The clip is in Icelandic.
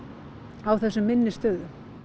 á þessum minni stöðum